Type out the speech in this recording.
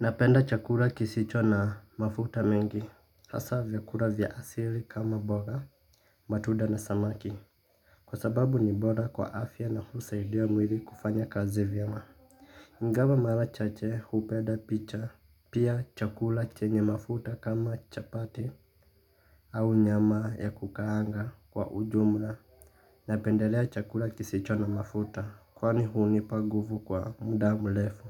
Napenda chakula kisicho na mafuta mengi, hasa vyakula vya asili kama mboga, matunda na samaki kwa sababu ni bora kwa afya na husaidia mwili kufanya kazi vyema. Ingawa mara chache hupenda picha, pia chakula chenye mafuta kama chapati au nyama ya kukaanga kwa ujumla. Napendelea chakula kisicho na mafuta, kwani hunipa nguvu kwa muda mrefu.